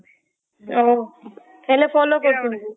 ଓଃ ହେଲେ follow କରୁଛନ୍ତି ତାଙ୍କୁ